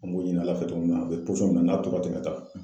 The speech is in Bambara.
N b'o ɲini Ala fɛ togo min na a bɛ min na n'a to ka tɛmɛ ta